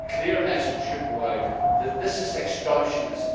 A very clear message should go out that this is extortionist.